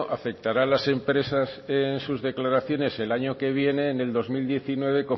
afectará a las empresas en sus declaraciones en el año que viene en el dos mil diecinueve